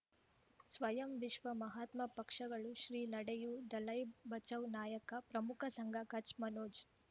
ಸ್ವಯಂ ವಿಶ್ವ ಮಹಾತ್ಮ ಪಕ್ಷಗಳು ಶ್ರೀ ನಡೆಯೂ ದಲೈ ಬಚೌ ನಾಯಕ ಪ್ರಮುಖ ಸಂಘ ಕಚ್ ಮನೋಜ್